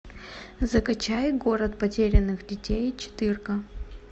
закачай город потерянных детей четырка